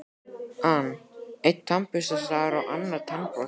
an: Einn tannburstaður og annar tannbrotinn.